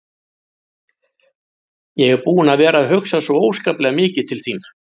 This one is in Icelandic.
Ég er búinn að vera að hugsa svo óskaplega mikið til þín.